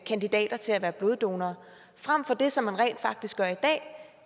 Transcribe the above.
kandidater til at være bloddonorer frem for det som man rent faktisk gør i dag